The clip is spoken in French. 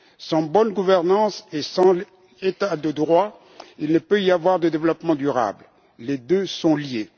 Sans bonne gouvernance et sans état de droit, il ne peut y avoir de développement durable les deux sont liés.